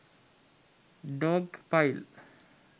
dog pile